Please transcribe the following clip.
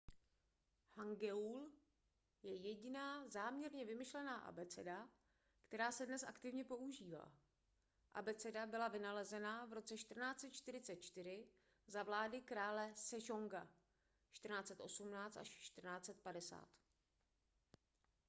hangeul je jediná záměrně vymyšlená abeceda která se dnes aktivně používá. abeceda byla vynalezena v roce 1444 za vlády krále sejonga 1418–1450